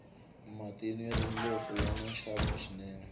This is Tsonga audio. matinu ya tindlopfu yani nxavo swinene